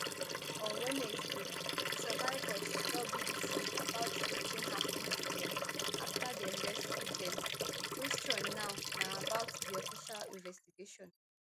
on wednesday di survivors tell bbc about wetin happun to dem afta dem rescue dem di kwesion now na about di official investigation